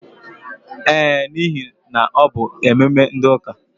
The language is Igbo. Ee, n'ihe na ọ bụ ememe ndi ụka.